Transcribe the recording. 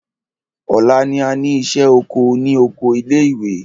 Ọ̀la ni a ní ìṣẹ́ oko ní oko ilé ìwé.